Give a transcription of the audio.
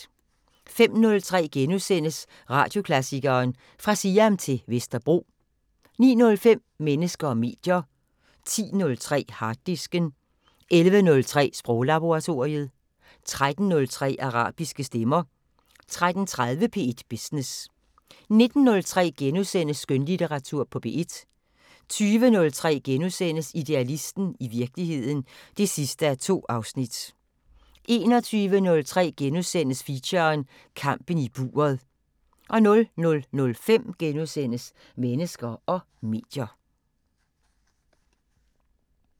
05:03: Radioklassikeren: Fra Siam til Vesterbro * 09:05: Mennesker og medier 10:03: Harddisken 11:03: Sproglaboratoriet 13:03: Arabiske stemmer 13:30: P1 Business 19:03: Skønlitteratur på P1 * 20:03: Idealisten – i virkeligheden (2:2)* 21:03: Feature: Kampen i buret * 00:05: Mennesker og medier *